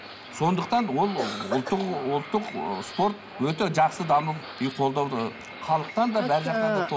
сондықтан ол ұлттық ұлттық спорт өте жақсы дамып и қолдауды халықтан да бар жақтан да